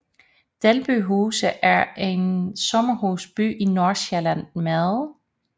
Dalby Huse er en sommerhusby i Nordsjælland med